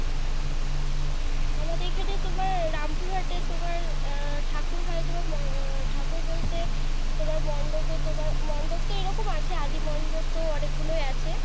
আমাদের এখানে তোমার রামপুর হাটে তোমার আহ ঠাকুর হয় তোমার আহ ঠাকুর বলতে তোমার মন্ডপে তোমার মন্ডপ তো এরকম আছে আদি মন্ডোপ তো অনেক গুলাই আছে।